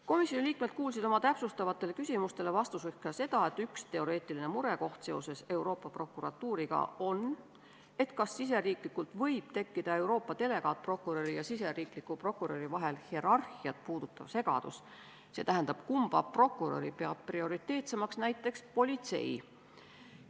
Komisjoni liikmed kuulsid oma täpsustavatele küsimustele vastuseks ka seda, et üks teoreetiline murekoht seoses Euroopa Prokuratuuriga on see, kas riigisiseselt võib tekkida Euroopa delegaatprokuröri ja riigisisese prokuröri vahelist hierarhiat puudutav segadus, st kumba prokuröri peab prioriteetsemaks näiteks politsei.